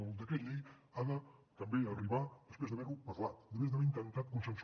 el decret llei ha de també arribar després d’haver ne parlat després d’haver intentat fer consens